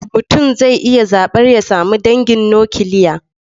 Mutum zai iya zaɓar ya sami dangin nukiliya.